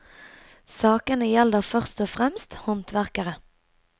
Sakene gjelder først og fremst håndverkere.